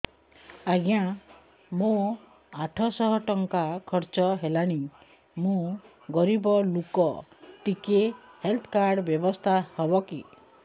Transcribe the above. ଆଜ୍ଞା ମୋ ଆଠ ସହ ଟଙ୍କା ଖର୍ଚ୍ଚ ହେଲାଣି ମୁଁ ଗରିବ ଲୁକ ଟିକେ ହେଲ୍ଥ କାର୍ଡ ବ୍ୟବସ୍ଥା ହବ କି